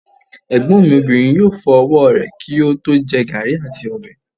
Egbon mi Obinrin yoo fo ọwọ rẹ ki o to jẹ garri ati ọbẹ